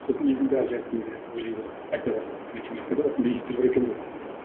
сосын елдің бәрі ойлай бастады айта бастады математикада осындай есептер бар екен ғой